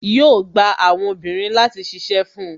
Yo gba àwọn obìnrin láti ṣíṣe fun